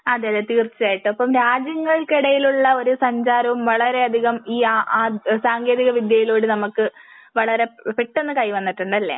അതെ അതെ തീർച്ചയായിട്ടും. അപ്പോ രാജ്യങ്ങൾക്ക് ഇടയിലുള്ള ഒരു സഞ്ചാരവും വളരെ അധികം ഈ ആഹ് സാങ്കേന്തിക വിദ്യയിലൂടെ നമുക്ക് വളരെ പെട്ടെന്ന് കൈവന്നിട്ടുണ്ട് അല്ലേ?